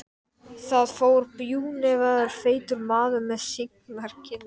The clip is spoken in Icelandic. Þar fór bjúgnefjaður feitur maður með signar kinnar.